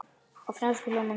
Á frönsku hljómar hún svona